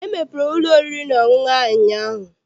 Emepere m ụlọ oriri na ọṅụṅụ ahụ ụnyaahụ.